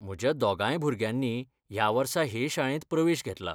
म्हज्या दोगांय भुरग्यांनी ह्या वर्सा हे शाळेंत प्रवेश घेतला.